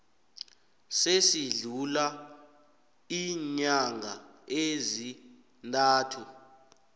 esidlula iinyanga ezintathu